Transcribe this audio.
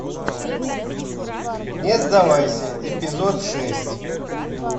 не сдавайся эпизод шесть